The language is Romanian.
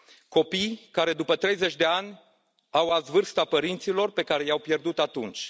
Copii care, după 30 de ani, au azi vârsta părinților pe care i au pierdut atunci.